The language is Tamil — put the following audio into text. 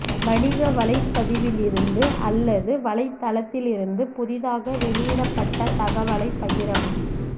வணிக வலைப்பதிவிலிருந்து அல்லது வலைத்தளத்தில் இருந்து புதிதாக வெளியிடப்பட்ட தகவலைப் பகிரவும்